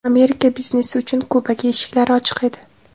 Amerika biznesi uchun Kubaga eshiklari ochiq edi.